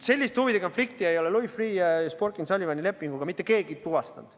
Sellist huvide konflikti ei ole Louis Freeh, Sporkin & Sullivan lepinguga mitte keegi tuvastanud.